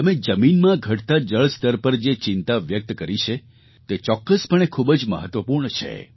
તમે જમીનમાં ઘટતા જળસ્તર પર જે ચિંતા વ્યક્ત કરી છે તે ચોકકસપણે ખૂબ જ મહત્વપૂર્ણ છે